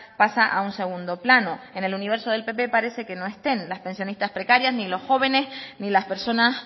pasa a un segundo plano en el universo del pp parece que no estén las pensionistas precarias ni los jóvenes ni las personas